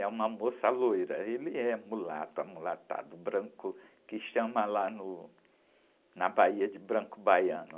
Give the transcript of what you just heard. É uma moça loira, ele é mulato, amulatado, branco, que chama lá no, na Bahia de branco baiano.